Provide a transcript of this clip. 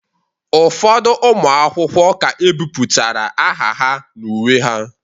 Ụfọdụ ụmụ akwụkwọ ka ebipụtara aha ha n'uwe ha